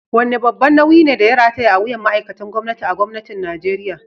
Wane babban nauyi ne da ya rataya a wuyan ma’aikatan gwamnati a Gwamnatin Najeriya?